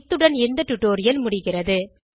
இத்துடன் இந்த டுடோரியல் முடிகிறது